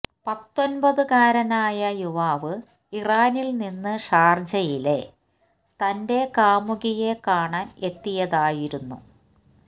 പത്തൊന്പതുകാരനായ യുവാവ് ഇറാനില് നിന്ന് ഷാര്ജയിലെ തന്റെ കാമുകിയെ കാണാന് എത്തിയതായിരുന്നു